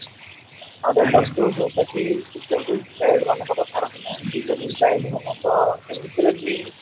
ଆଉ ଯୋଉଟା କି trivial child ମାନଙ୍କ କଥା ରହିଲା disable child ମାନଙ୍କର ଏମିତିରେ ବି